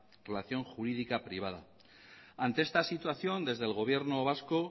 relación jurídica privada ante esta situación desde el gobierno vasco